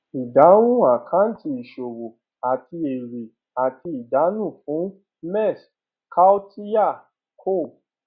ìdáhùn àkáǹtì ìṣòwò àti èrè àti àdánù fún mess kautilya co